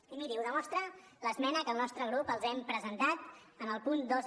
i miri ho demostra l’esmena que el nostre grup els hem presentat en el punt dos